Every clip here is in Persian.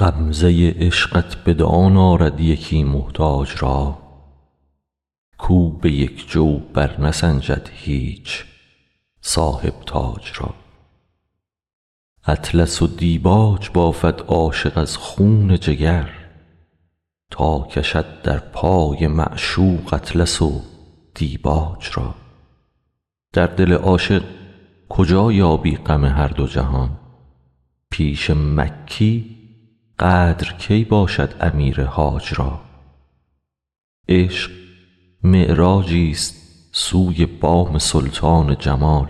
غمزه عشقت بدان آرد یکی محتاج را کاو به یک جو برنسنجد هیچ صاحب تاج را اطلس و دیباج بافد عاشق از خون جگر تا کشد در پای معشوق اطلس و دیباج را در دل عاشق کجا یابی غم هر دو جهان پیش مکی قدر کی باشد امیر حاج را عشق معراجیست سوی بام سلطان جمال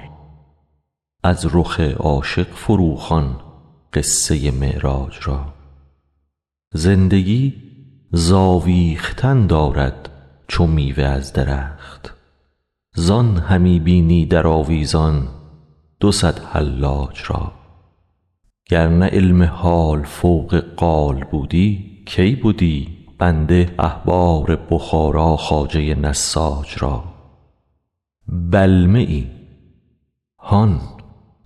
از رخ عاشق فروخوان قصه معراج را زندگی ز آویختن دارد چو میوه از درخت زان همی بینی در آویزان دو صد حلاج را گر نه علم حال فوق قال بودی کی بدی بنده احبار بخارا خواجه نساج را بلمه ای هان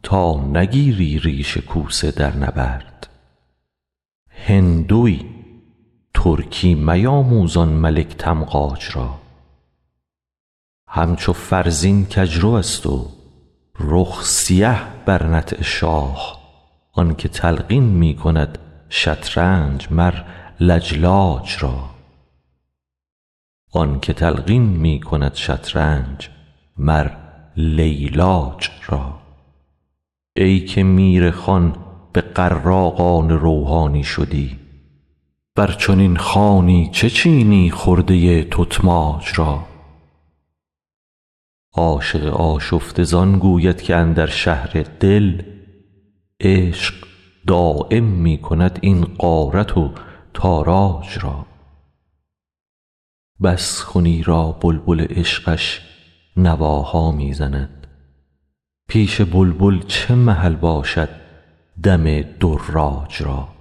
تا نگیری ریش کوسه در نبرد هندوی ترکی میاموز آن ملک تمغاج را همچو فرزین کژروست و رخ سیه بر نطع شاه آنک تلقین می کند شطرنج مر لجلاج را ای که میرخوان بغراقان روحانی شدی بر چنین خوانی چه چینی خرده تتماج را عاشق آشفته از آن گوید که اندر شهر دل عشق دایم می کند این غارت و تاراج را بس کن ایرا بلبل عشقش نواها می زند پیش بلبل چه محل باشد دم دراج را